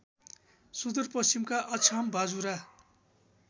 सुदूरपश्चिमका अछाम बाजुरा